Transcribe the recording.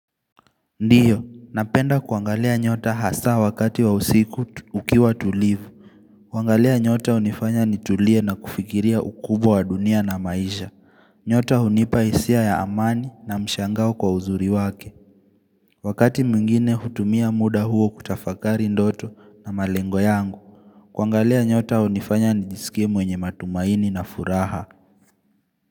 Ndiyo, napenda kuangalia nyota hasa wakati wa usiku ukiwa tulivu. Kuangalia nyota hunifanya nitulie na kufikiria ukubwa wa dunia na maisha. Nyota hunipa hisia ya amani na mshangao kwa uzuri wake. Wakati mwingine hutumia muda huo kutafakari ndoto na malengo yangu. Kuangalia nyota hunifanya nijisikie mwenye matumaini na furaha. Kwa hivyo.